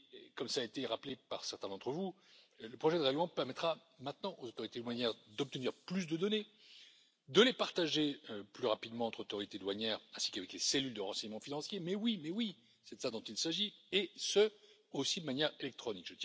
Comme cela a été rappelé par certains d'entre vous, le projet de règlement permettra désormais aux autorités douanières d'obtenir plus de données, de les partager plus rapidement entre autorités douanières, ainsi qu'avec les cellules de renseignement financier, mais oui, c'est de cela dont il s'agit, et ce, aussi, de manière électronique.